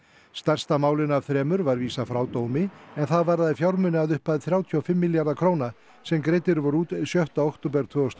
stærsta málinu af þremur var vísað frá dómi en það varðaði fjármuni að upphæð þrjátíu og fimm milljarða króna sem greiddir voru út sjötta október tvö þúsund og